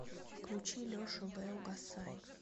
включи лешу лэ угасай